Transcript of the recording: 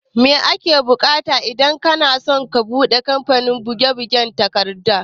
Mai ake bukata idan kanaso ka buɗe kamfanin buge bugen takarda?